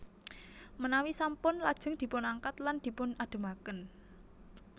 Menawi sampun lajeng dipun angkat lan dipun ademaken